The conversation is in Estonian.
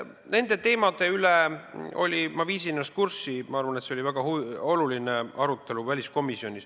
Nende teemade üle oli – ma viisin ennast kurssi –, ma arvan, väliskomisjonis väga oluline arutelu.